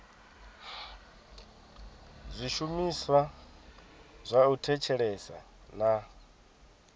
zwishumiswa zwa u thetshelesa na